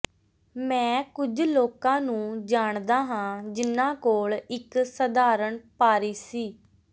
ਮੈਂ ਕੁਝ ਲੋਕਾਂ ਨੂੰ ਜਾਣਦਾ ਹਾਂ ਜਿਨ੍ਹਾਂ ਕੋਲ ਇੱਕ ਸਧਾਰਣ ਪਾਰੀ ਸੀ